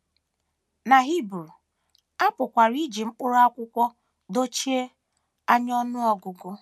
Na Hibru, a pụkwara iji mkpụrụ akwụkwọ dochie anya ọnụ ọgụgụ.